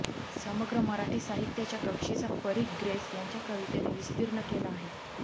समग्र मराठी साहित्याच्या कक्षेचा परीघ ग्रेस यांच्या कवितेने विस्तीर्ण केला आहे